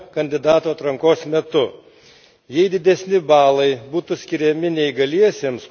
Mano nuomone, gal reiktų keisti vertinimo sistemą, kandidatų atrankos metu.